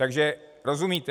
Takže - rozumíte?